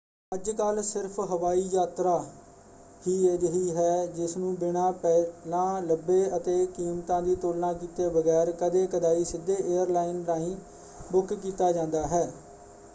ਅੱਜਕੱਲ੍ਹ ਸਿਰਫ਼ ਹਵਾਈ ਯਾਤਰਾ ਹੀ ਅਜਿਹੀ ਹੈ ਜਿਸਨੂੰ ਬਿਨਾਂ ਪਹਿਲਾਂ ਲੱਭੇ ਅਤੇ ਕੀਮਤਾਂ ਦੀ ਤੁਲਨਾ ਕੀਤੇ ਬਗੈਰ ਕਦੇ-ਕਦਾਈ ਸਿੱਧੇ ਏਅਰਲਾਈਨ ਰਾਹੀਂ ਬੁੱਕ ਕੀਤਾ ਜਾਂਦਾ ਹੈ।